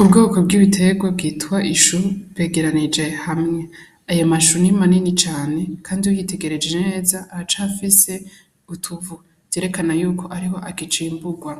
Ubwoko bw'ibiterwa bwitwa ishu bigira bije hamwe. Ayo mashu ni manini cane kandi uyitegereje neza aracafise utuvu, vyerekana yuko ariho akicimburwa.